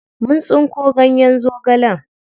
Mun tsinko ganyen zogalen.